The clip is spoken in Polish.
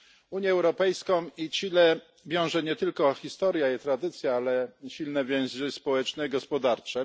Unię Europejską i Chile wiążą nie tylko historia i tradycja, ale również silne więzy społeczne i gospodarcze.